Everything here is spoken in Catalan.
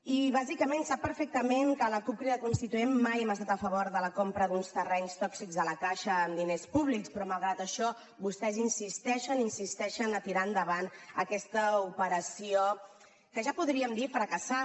i bàsicament sap perfectament que la cup crida constituent mai hem estat a favor de la compra d’uns terrenys tòxics a la caixa amb diners públics però malgrat això vostès insisteixen i insisteixen a tirar endavant aquesta operació que ja podríem dir fracassada